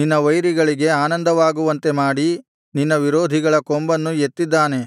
ನಿನ್ನ ವೈರಿಗಳಿಗೆ ಆನಂದವಾಗುವಂತೆ ಮಾಡಿ ನಿನ್ನ ವಿರೋಧಿಗಳ ಕೊಂಬನ್ನು ಎತ್ತಿದ್ದಾನೆ